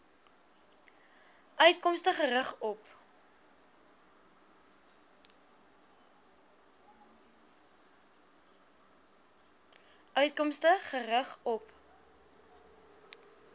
uitkomste gerig op